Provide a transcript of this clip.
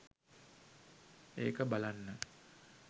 ඒක බලන්න.